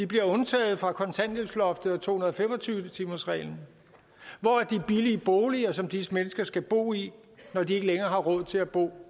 bliver undtaget fra kontanthjælpsloftet og to hundrede og fem og tyve timersreglen hvor er de billige boliger som disse mennesker skal bo i når de ikke længere har råd til at bo